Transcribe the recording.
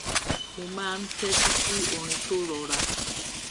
mo máa ń tétí sí orin tó rọra